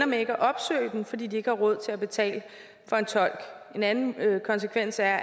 med ikke at opsøge den fordi de ikke har råd til at betale for en tolk en anden konsekvens er